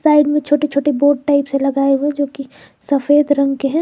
Side में छोटे छोटे बोर्ड टाइप से लगाए हुए है जो कि सफेद रंग के हैं।